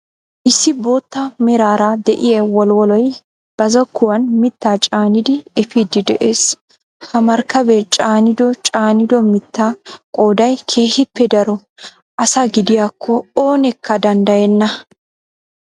Issi bootta meraara de'iyaa wolwoloy ba zokkuwaan mittaa caanidi epiidi de'ees. ha markabee caanido caanido miittaa qooday keehippe daro asaa gidiyaakko oneekka danddayenna.